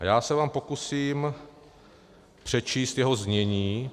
A já se vám pokusím přečíst jeho znění.